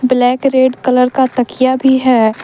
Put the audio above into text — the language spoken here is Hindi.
ब्लैक रेड कलर का तकिया भी है।